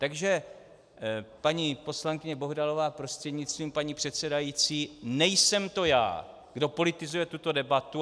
Takže paní poslankyně Bohdalová prostřednictvím paní předsedající, nejsem to já, kdo politizuje tuto debatu.